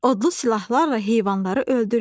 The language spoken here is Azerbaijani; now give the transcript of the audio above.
Odlu silahlarla heyvanları öldürür.